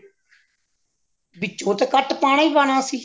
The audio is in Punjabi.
ਵਿੱਚੋਂ ਤੇ ਕੱਟ ਪਾਉਣਾ ਹੀ ਪਾਉਣਾ ਅਸੀਂ